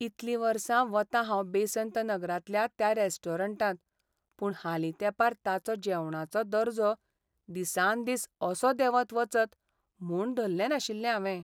इतलीं वर्सां वतां हांव बेसंत नगरांतल्या त्या रॅस्टोरंटांत, पूण हालीं तेंपार ताचो जेवणाचो दर्जो दिसान दीस असो देंवत वचत म्हूण धल्लें नाशिल्लें हावें.